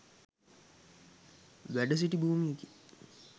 වැඩ සිටි භූමියකි.